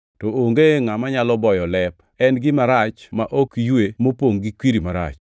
to onge ngʼama nyalo boyo lep. En gima rach ma ok ywe mopongʼ gi kwiri marach.